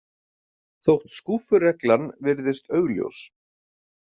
Þótt skúffureglan virðist augljós.